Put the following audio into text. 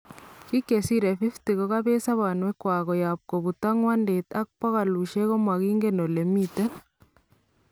Biik chesiree 50 kokabeet sobonweek kwak koyaab kobutaak ngwandet ak pokolushek komakinken olee miten